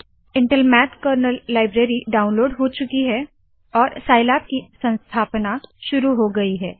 Intel math kernel library download हो चुकी है और साइलैब की संस्थापना शुरू हो गयी है